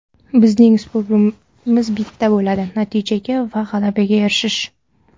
Bizning uslubimiz bitta bo‘ladi natijaga va g‘alabaga erishish.